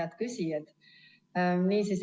Head küsijad!